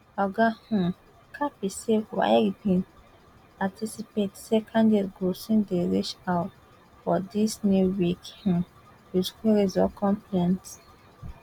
oga um kapi say waec bin anticipate say candidates go soon dey reach out for dis new week um wit queries or complaints